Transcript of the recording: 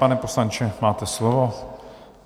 Pane poslanče, máte slovo.